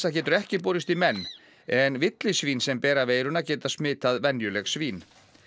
getur ekki borist í menn en villisvín sem bera veiruna geta smitað venjuleg svín